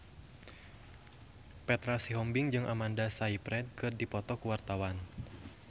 Petra Sihombing jeung Amanda Sayfried keur dipoto ku wartawan